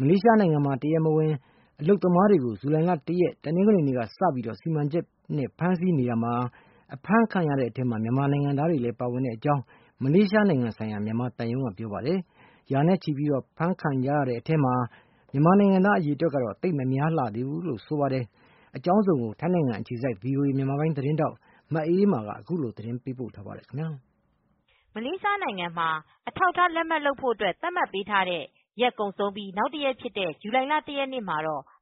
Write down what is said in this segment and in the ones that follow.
မလေးရှားနိုင်ငံမှာ တရားမဝင် အလုပ်သမားတွေကို ဇူလိုင် ၁ ရက် တနင်္ဂနွေနေ့ကစပြီး စီမံချက်နဲ့ ဖမ်းဆီးနေတာမှာ အဖမ်းခံရတဲ့အထဲ မြန်မာနိုင်ငံသားတွေလည်း ပါဝင်တဲ့အကြောင်း မလေးရှားနိုင်ငံဆိုင်ရာ မြန်မာသံရုံးကပြောပါတယ်။ ရာနဲ့ချီပြီးတော့ အဖမ်းခံကြရတဲ့အထဲမှာ မြန်မာနိုင်ငံသားအရေတွက်ကတော့ သိပ်မများလှသေးဘူးလို့ ဆိုပါတယ်။ အကြောင်းစုံကိုတော့ ထိုင်းနိုင်ငံအခြေစိုက် VOA မြန်မာပိုင်း သတင်းထောက် မအေးမာကသတင်းပေးပို့ထားပါတယ်။ မလေးရှားနိုင်ငံမှာ အထောက်အထားလက်မှတ်လုပ်ဖို့ သတ်မှတ်ပေးထားတဲ့ ရက်ကုန်ဆုံးပြိး နောက်တရက်ဖြစ်တဲ့ဇူလိုင်လ ရက်နေ့ မှာ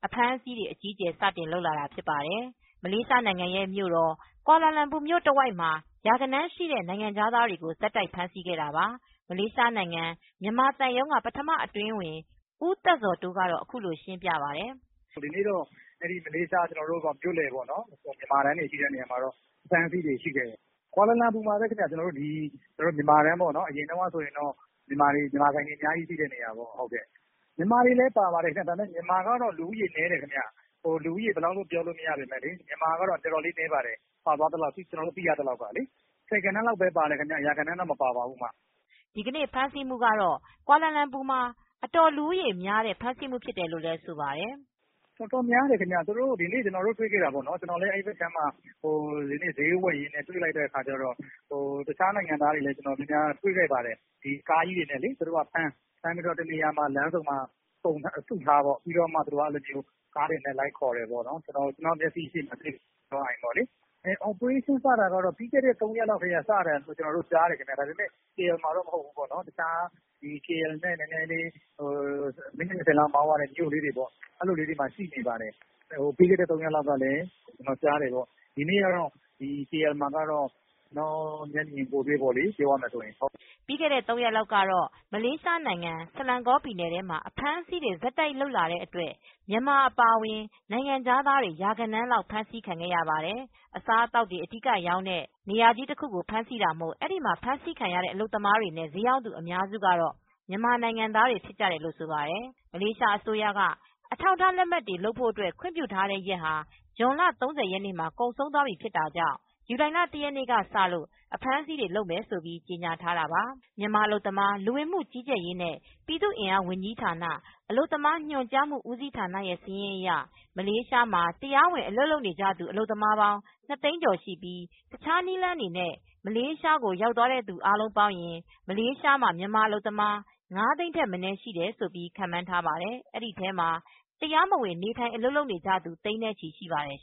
အဖမ်းအဆီးတွေ အကြီးအကျယ်စလုပ်လာတာဖြစ်ပါတယ်။ မလေးရှားနိုင်ငံရဲ့မြို့တော်ကွာလာလမ်ပူမြို့ တဝိုက်မှာ ရာဂဏန်းရှိတဲ့နိုင်ငံခြားသားတွေကို ဆက်တိုက်ဖမ်းဆီးခဲ့တာပါ။ မလေးရှားနိုင်ငံမြန်မာသံရုံးကပထမအတွင်းဝန် ဦးသက်ဇော်တိုးကတော့ အခုလိုရှင်းပြပါတယ်။ "ဒီနေ့ မလေးရှား မြန်မာတန်းတွေရှိတဲ့နေရာမှာ အဖမ်းအဆီးတွေရှိတယ်။ ကွာလာလမ်ပူမှာပဲခင်ဗျ ကျနော်တို့အရင်တုန်းက မြန်မာဆိုင်တန်းတွေရှိတဲ့နေရာမှာပဲခင်ဗျ မြန်မာတွေလည်းပါသွားပါတယ်။ လူဦးရေဘယ်လောက်လို့ပြောလို့မရပေမဲ့ မြန်မာတွေကပါတာနည်းပါတယ် ဆယ်ဂဏန်းလောက်ပဲပါပါတယ်။ ရာဂဏန်းလောက်တော့မပါဘူးခင်ဗျ' ဒီနေ့ဖမ်းဆီးမူကတော့ ကွာလာလမ်ပူမှာ အတော်လူဦးရေများတဲ့ ဖမ်းဆီးမူဖြစ်တယ်လို့ လည်းသူက ဆိုပါတယ်။ "တော်တော်များတယ်ခင်ဗျ သူတို့ဒီနေ့ ကျနော်တွေ့ခဲ့တာ အဲဒီဘက်မှာဈေးဝယ်ရင်းတွေ့ခဲ့တာတခြားနိုင်ငံသားတွေ ကိုလည်းတွေခဲ့ပါတယ်။ သူတို့က ကားကြီးတွေနဲ့ ဖမ်းလမ်းဆုံမှာစုထားပြီး ကားတွေနဲ့ လိုက်ခေါ်တယ်ပေါ့နော်။ ကျနော်မျက်စိရှေတင်ပဲ အော်ပရေးရှင်းစတာကတော့ ပြီးခဲ့တဲ့ ၃ရက်လောက်စတယ်။ ကေအယ်လ် မှာတော့မဟုတ်ဘူး ပေါ့ တခြားကေအယ်လ်နဲ့ မိနစ် ၂၀လောက်မောင်းရတဲ့နေရာမှာတော့ ပြီးခဲ့တဲ့ရက်ကတည်းကစတယ် ဒီနေ့ ကွာလာလမ်ပူမှာတော့ ကျနော်မျက်မြင်ကိုယ်တွေပေါ့လေ" ပြီးခဲ့တဲ့ ၃ရက်လောက်တော့ မလေးရှားနိုင်ငံ ဆလန်ကောပြည်နယ်ထဲမှာ အဖမ်းအဆီးတွေဆက်တိုက်လုပ်လာတဲ့အတွက်မြန်မာ အပါအဝင်နိုင်ငံခြားသားတွေ ရာဂဏန်းလောက်ဖမ်းဆီးခံခဲ့ရပါတယ်။ အစားအသောက်တွေအဓိကရောင်းတဲ့ food court နေရာကြီးတခုကိုဖမ်းဆီးတာမို့အဲဒီမှာ ဖမ်းဆီးခံရတဲ့ အလုပ်သမားတွေနဲ့ ဈေးရောင်းသူအများစုကမြန်မာနိုင်ငံသားတွေလို့လည်းဆိုပါတယ်။ မလေးရှားအစိုးရက အထောက်အထားလက်မှတ်တွေ လုပ်ဖို့ ခွင့်ပြုထားတဲ့ရက်ဟာ ဇွန်လ ၃၀မှာ ကုန်ဆုံးသွားပြီဖြစ်တာကြောင့် ဇူလိုင် ၁ရက်ကစလို့အဖမ်းဆီးတွေ လုပ်မယ်လို့ကြေညာထားတာပါ။ မြန်မာ အလုပ်သမားလူဝင်မူကြီးကြပ်ရေနဲ့ ပြည်သူအင်အားဝန်ကြီးဌာန အလုပ်သမားညွန်ကြားမူဦးစီးဌာနရဲ့ စာရင်းအရ မလေးရှားမှာ တရားဝင်အလုပ်လုပ်နေကြသူ အလုပ်သမားပေါင်း ၂ သိန်းကျော်ရှိပြီး တခြားနည်းလမ်းတွေနဲ့ မလေးရှားကိုရောက်သွားသူအားလုံးပေါင်းရင် မလေးရှားမှာ မြန်မာအလုပ်သမား ၅ သိန်း ထက်မနည်းရှိတယ်ခန့်မှန်းထားပါတယ်။ အဲဒီထဲမှာ တရားမဝင် နေထိုင် အလုပ်လုပ်နေကြသူ သိန်းနဲ့ချီရှိပါတယ်